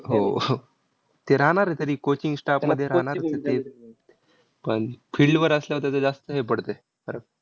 हो. ते राहणार आहे तरी coaching staff मध्ये राहणारच आहे ते. पण field वर असल्यावर त्याचं जास्त हे पडते फरक.